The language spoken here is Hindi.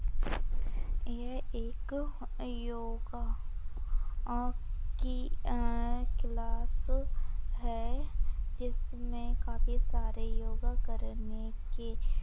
यह एक योगा आं की अह क्लास है जिसमे काफी सारे योगा करने के--